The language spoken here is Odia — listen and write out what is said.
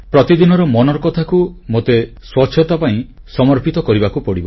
ପ୍ରତିଦିନର ମନର କଥା କୁ ମୋତେ ସ୍ୱଚ୍ଛତା ପାଇଁ ସମର୍ପିତ କରିବାକୁ ପଡ଼ିବ